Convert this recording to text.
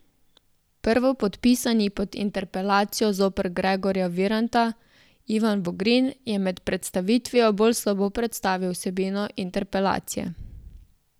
Prvopodpisani pod interpelacijo zoper Gregorja Viranta, Ivan Vogrin, je med predstavitvijo bolj slabo predstavil vsebino interpelacije.